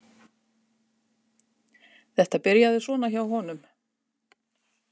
Þetta byrjaði svona hjá honum.